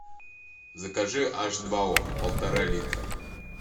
закажи аш два о полтора литра